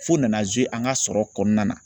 F'u nana an ka sɔrɔ kɔnɔna na